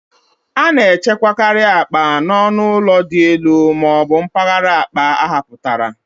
A na-echekwakarị akpa n'ọnụ ụlọ dị n'elu ma ọ bụ mpaghara akpa ahapụtara.